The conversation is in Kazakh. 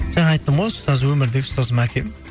жаңа айттым ғой ұстаз өмірдегі ұстазым әкем